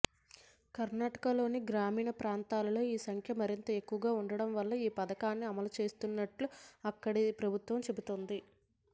కర్ణాటకలోని గ్రామీణ ప్రాంతాల్లో ఈ సంఖ్య మరింత ఎక్కువగా ఉండటం వల్ల ఈ పథకాన్ని అమలుచేస్తున్నట్టు అక్కడి ప్రభుత్వం చెబుతోంది